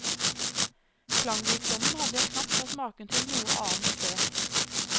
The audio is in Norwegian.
Klangrikdommen hadde jeg knapt hørt maken til noe annet sted.